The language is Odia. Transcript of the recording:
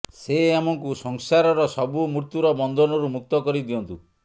ସେ ଆମକୁ ସଂସାରର ସବୁ ମୃତ୍ୟୁର ବନ୍ଧନରୁ ମୁକ୍ତ କରି ଦିଅନ୍ତୁ